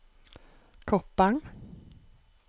Koppang